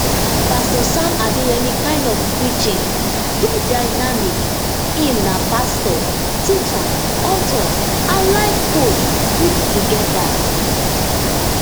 pastor sam adeyemi kind of preaching dey dynamic im na pastor teacher author and life coach put togeda